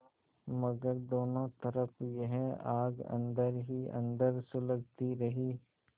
मगर दोनों तरफ यह आग अन्दर ही अन्दर सुलगती रही